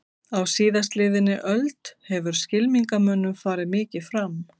Á síðastliðinni öld hefur skylmingamönnum farið mikið fram.